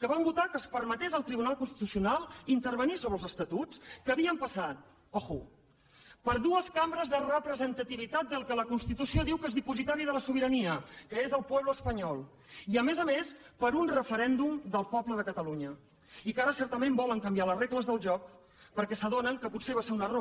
que van votar que es permetés al tribunal constitucional intervenir sobre els estatuts que havien passat compte per dues cambres de representativitat del que la constitució diu que és dipositari de la sobirania que és el pueblo español i a més a més per un referèndum del poble de catalunya i que ara certament volen canviar les regles del joc perquè s’adonen que potser va ser un error